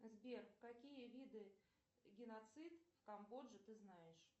сбер какие виды геноцид в камбодже ты знаешь